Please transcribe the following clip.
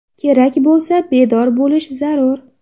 Kerak bo‘lsa, bedor bo‘lish zarur.